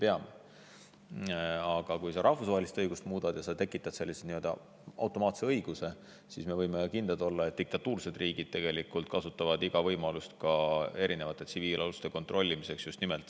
Aga kui me muudame rahvusvahelist õigust ja tekitame nii-öelda automaatse õiguse, paneme sellise sätte rahvusvahelisse mereõigusesse, siis me võime olla kindlad, et diktatuuririigid kasutavad igat võimalust tsiviilaluste kontrollimiseks.